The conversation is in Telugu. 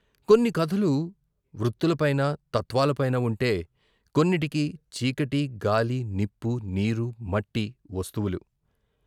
కొన్ని కథలు వృత్తులపైన తత్వాలపైన వుంటే, కొన్నిటికి చీకటి, గాలి, నిప్పు, నీరు, మట్టి వస్తువులు.